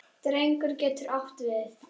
Drengur getur átt við